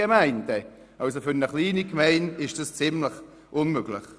Für eine kleine Gemeinde ist dies ziemlich unmöglich.